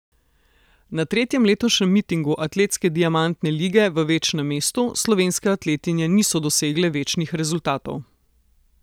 Na tretjem letošnjem mitingu atletske diamantne lige v večnem mestu slovenske atletinje niso dosegle večnih rezultatov.